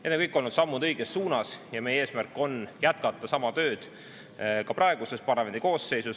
Need on kõik olnud sammud õiges suunas ja meie eesmärk on jätkata sama tööd ka praeguses parlamendikoosseisus.